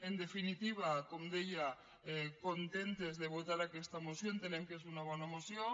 en definitiva com deia contentes de votar aquesta moció entenem que és una bona moció